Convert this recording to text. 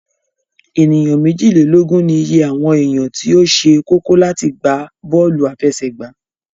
Ènìyàn méjìlélógún ní ìye àwọn èèyàn tí ó se kókó láti gbá bọ́lù àfẹsẹ̀gbá